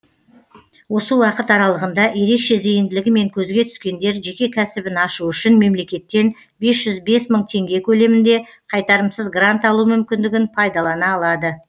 осы уақыт аралығында ерекше зейінділігімен көзге түскендер жеке кәсібін ашу үшін мемлекеттен бес жүз бес мың теңге көлемінде қайтарымсыз грант алу мүмкіндігін пайдалана алады